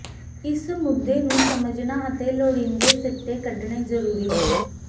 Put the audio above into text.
ਇਸ ਮੁੱਦੇ ਨੂੰ ਸਮਝਣਾ ਅਤੇ ਲੋੜੀਂਦੇ ਸਿੱਟੇ ਕੱਢਣੇ ਜ਼ਰੂਰੀ ਹਨ